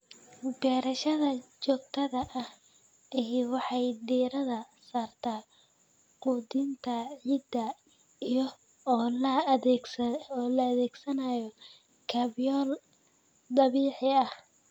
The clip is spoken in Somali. Beerashada joogtada ahi waxay diiradda saartaa quudinta ciidda iyada oo la adeegsanayo kaabyaal dabiici ah.